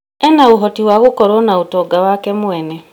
ena ũhoti wa gũkorũo na ũtonga wake mwene.